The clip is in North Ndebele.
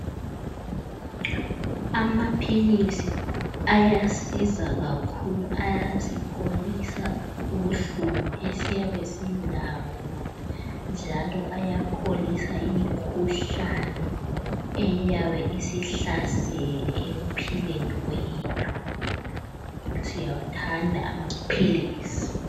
Amaphilisa ayasiza kakhulu. Ayasipholisa ubuhlungu esiyabe silabo njalo ayapholisa imikhuhlane eyabe isihlasele ekuphileni kwethu. Siyawathanda amaphilisi.